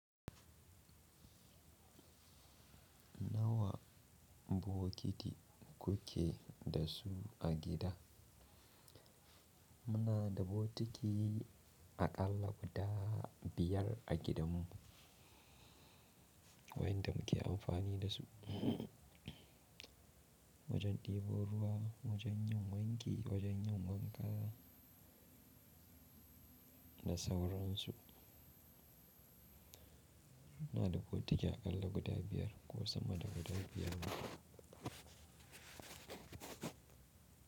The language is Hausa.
Nawa bokiti kuke da su a gida? Muna da bokiti aƙalla guda biyar a gidanmu wanda muke amfani da su. Wajen ɗebo ruwa, wajen yin wanki, wajen yin wanka da sauransu. Muna da bokiti aƙalla guda biyar ko sama da guda biyar ma.